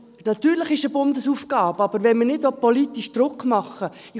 Natürlich ist es eine Bundesaufgabe, wenn man aber nicht politisch Druck machen will …